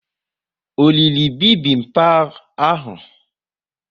O riri bibimbap ahu?